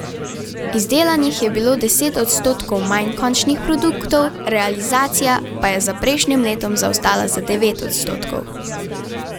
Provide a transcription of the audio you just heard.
Izdelanih je bilo deset odstotkov manj končnih produktov, realizacija pa je za prejšnjim letom zaostala za devet odstotkov.